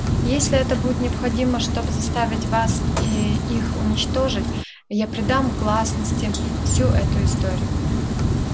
и если это будет необходимо чтобы заставить вас и их уничтожить я предам гласности всю эту историю